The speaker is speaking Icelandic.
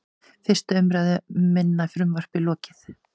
Fyrstu umræðu um minna frumvarpið lokið